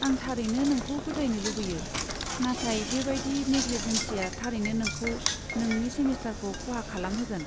आं थारैनो नोंखौ फोथायनो लुबैयो, नाथाय बेबायदि नेग्लिजेन्सआ थारैनो नोंखौ नोंनि सेमिस्टारखौ खहा खालामहोगोन।